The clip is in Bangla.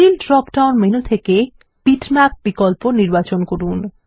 ফিল ড্রপ ডাউন মেনু থেকে বিটম্যাপ বিকল্প নির্বাচন করুন